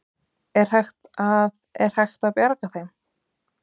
Er hægt að, er hægt að bjarga þeim?